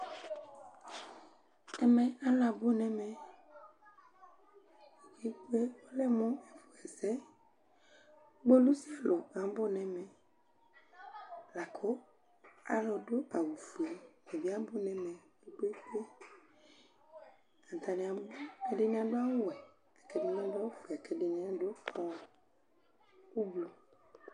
Ɛmɛ alʋ abʋ nɛmɛ !Ɔlɛmʋ ɛfʋɛsɛ kpolusi sro abʋ nɛmɛLakʋ alʋ dʋ awʋ fue, ata bɩ abʋ nɛmɛ kpekpeekpeAtanɩ abʋ, ɛdɩnɩ adʋ awʋ wɛ ,kɛdɩnɩ adʋ ofue ,akɛdɩnɩ adʋ ʋblʋ